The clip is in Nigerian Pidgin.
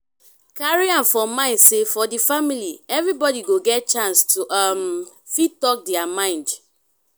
carry am for mind say for di family everybody go get chance to um fit talk their mind